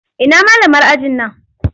Ina malamar ajin nan?